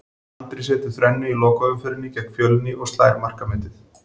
Andri setur þrennu í lokaumferðinni gegn Fjölni og slær markametið.